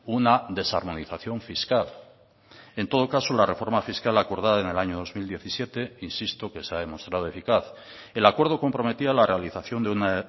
una desarmonización fiscal en todo caso la reforma fiscal acordada en el año dos mil diecisiete insisto que se ha demostrado eficaz el acuerdo comprometía la realización de una